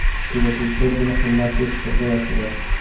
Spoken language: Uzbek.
Kuzatuvchilar buni qimmat deb hisoblayaptilar.